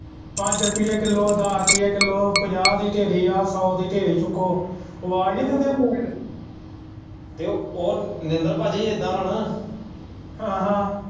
ਪੰਜ ਰੁਪਏ ਕਿਲੋ ਦੱਸ ਰੁਪਏ ਕਿਲੋ ਪੰਜਾਹ ਦੀ ਢੇਰੀ ਆ ਸੌ ਦੀ ਢੇਰੀ ਚੁੱਕੋ ਆਵਾਜ਼ ਨੀ ਦਿੰਦੇ ਹੁੰਦੇ।